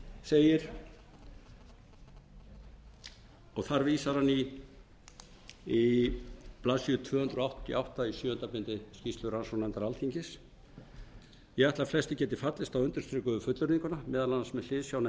segir og þar vísar hann í blaðsíðu tvö hundruð áttatíu og átta í sjöunda bindi skýrslu rannsóknarnefndar alþingis ég ætla að flestir geti fallist á undirstrikuðu fullyrðinguna meðal annars með hliðsjón af